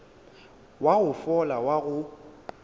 wa go fola wa go